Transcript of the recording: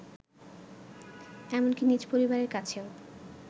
এমনকি নিজ পরিবারের কাছেও